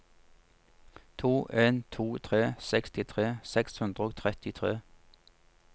to en to tre sekstitre seks hundre og trettitre